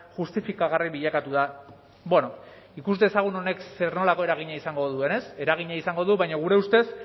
justifikagarri bilakatu da bueno ikus dezagun honek zer nolako eragina izango duen ez eragina izango du baina gure ustez